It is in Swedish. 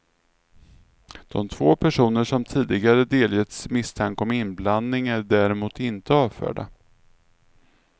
De två personer som tidigare delgetts misstanke om inblandning är däremot inte avförda.